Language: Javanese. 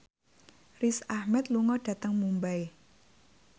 Riz Ahmed lunga dhateng Mumbai